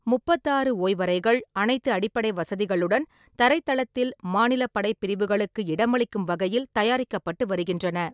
முப்பத்தாறு ஓய்வறைகள், அனைத்து அடிப்படை வசதிகளுடன், தரைத்தளத்தில் மாநில படைப்பிரிவுகளுக்கு இடமளிக்கும் வகையில் தயாரிக்கப்பட்டு வருகின்றன.